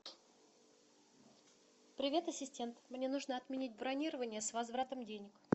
привет ассистент мне нужно отменить бронирование с возвратом денег